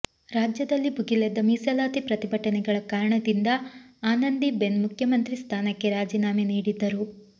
ರಾಜ್ಯದಲ್ಲಿ ಭುಗಿಲೆದ್ದ ಮೀಸಲಾತಿ ಪ್ರತಿಭಟನೆಗಳ ಕಾರಣದಿಂದ ಆನಂದಿಬೆನ್ ಮುಖ್ಯಮಂತ್ರಿ ಸ್ಥಾನಕ್ಕೆ ರಾಜಿನಾಮೆ ನೀಡಿದ್ದರು